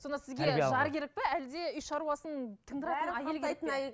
сонда сізге жар керек пе әлде үй шаруасын тындыратын әйел керек пе